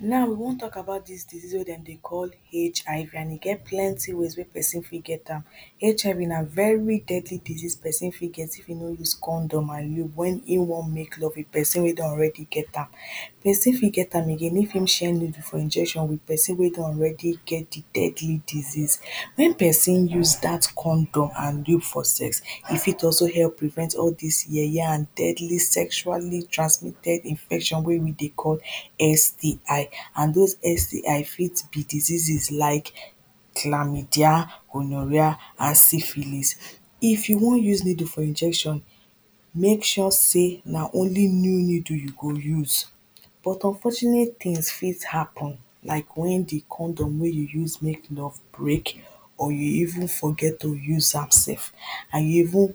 now we wan talk about dis disease wey dem dey call HIV, and e get plenty ways wey person fit get am HIV na very deadly disease, person fit get if e no use condom and when in wan make love with person wey don already get am person fit get am again, if im share needle for injection with person wey don already get the deadly disease. when person use dat condom and loop for sex e fit also help prevent all dis yeye, and deadly sexually transmitted infection wey we dey call STI and those STI fit be diseases like: Chlamydia gonorrhea and syphilis. if you wan use needle for injection, make sure say na only new needle you go use. but, unfortunate tins fit happen like when the condom wey you use make love break, or you even forget to use am sef and you even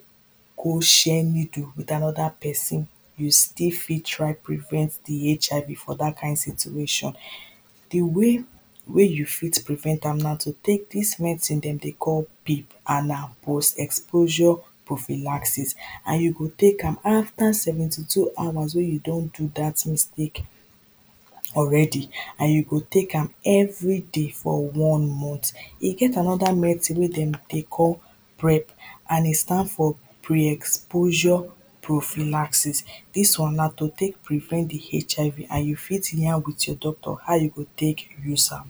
go share needle with another person, you still fit try prevent the HIV for dat kind situation the way wey you fit prevent am na to take dis medicine dem dey call, PEP and na post exposure prophylaxis and you go take am after seventy two hours wey you don do dat mistake already, and you go take am everyday for one month. e get another medicine wey dem dey call PREP and e stand for pre-exposure prophylaxis, dis one na to take prevent the HIV, and you fit yarn with your doctor, how you go take use am